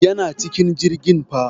Yana cikin jirgin fa.